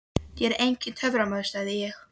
Ég er enginn töframaður sagði ég.